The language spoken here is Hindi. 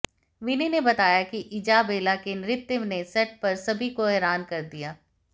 विनय ने बताया कि इजाबेला के नृत्य ने सेट पर सभी को हैरान कर दिया